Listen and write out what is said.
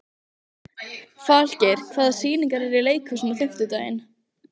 Falgeir, hvaða sýningar eru í leikhúsinu á fimmtudaginn?